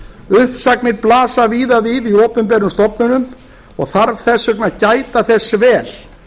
uppsagnir blasa víða við í opinberum stofnunum og þarf þess vegna að gæta þess vel